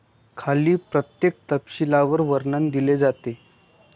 खाली प्रत्येक तपशीलवार वर्णन दिले जाते.